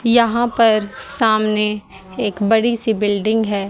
यहां पर सामने एक बड़ी सी बिल्डिंग है।